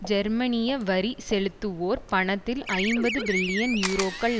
ஜெர்மனிய வரி செலுத்துவோர் பணத்தில் ஐம்பது பில்லியன் யூரோக்கள்